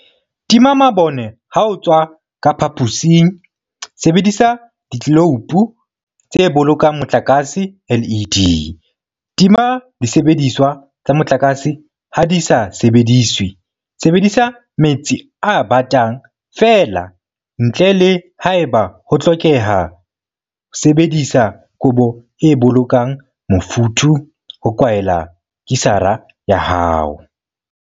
Tima mabone ha o tswa ka phaposing Sebedisa ditleloupo tse Bolokang Motlakase, LED, Tima disebediswa tsa motlakase ha di sa sebediswe Sebedisa metsi a batang feela, ntle le haeba ho hlokeha Sebedisa kobo e bolokang mofuthu ho kwaela kisara ya hao.